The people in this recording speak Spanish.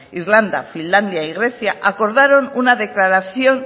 irlanda finlandia y grecia acordaron una declaración